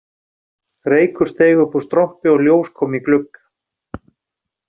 Reykur steig upp úr strompi og ljós kom í glugga